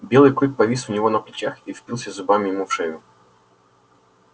белый клык повис у него на плечах и впился зубами ему в шею